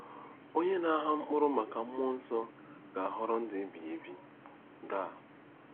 “Onye na-agha mkpụrụ maka mmụọ nsọ ga-aghọrọ ndụ ebighị ebi.”—GAL.